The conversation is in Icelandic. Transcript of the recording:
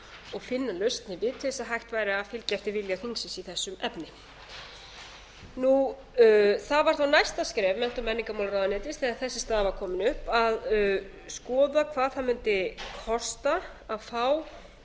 og finna lausn á til að hægt væri að fylgjast með vilja þingsins í þessum efnum það var þá næsta skref mennta og menningarmálaráðuneytis þegar þessi staða var komin upp að skoða hvað það mundi kosta að fá